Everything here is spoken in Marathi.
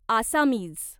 आसामीज